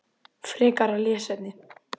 Frekara lesefni